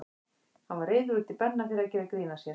Hann var reiður út í Benna fyrir að gera grín að sér.